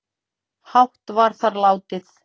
hátt var þar látið